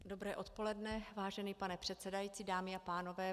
Dobré odpoledne, vážený pane předsedající, dámy a pánové.